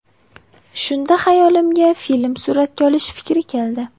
Shunda xayolimga film suratga olish fikri keldi.